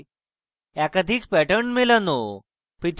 একাধিক pattern মেলানো